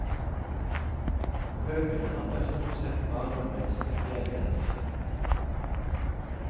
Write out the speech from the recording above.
Bøkene handler sort sette bare om en spesiell hendelse.